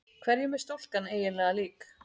Hverjum er stúlkan eiginlega lík?